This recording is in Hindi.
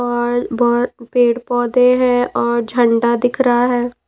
और बहुत पेड़-पौधे हैं और झंडा दिख रहा है।